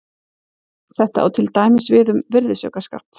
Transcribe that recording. Þetta á til dæmis við um virðisaukaskatt.